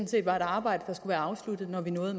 set var et arbejde der skulle være afsluttet når vi nåede